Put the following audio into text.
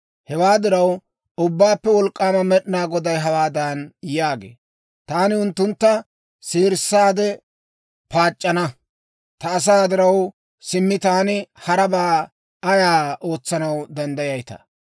Hewaa diraw, Ubbaappe Wolk'k'aama Med'inaa Goday hawaadan yaagee; «Taani unttuntta seerissaade paac'c'ana. Ta asaa diraw, simmi taani harabaa ayaa ootsanaw danddayayitaa?